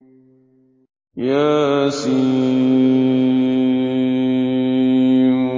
يس